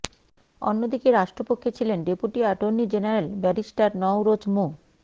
অন্যদিকে রাষ্ট্রপক্ষে ছিলেন deputy attorney general barrister Nowroz মো